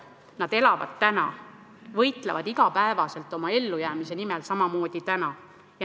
Nad elavad täna, võitlevad iga päev oma ellujäämise nimel, nad teevad seda samamoodi täna.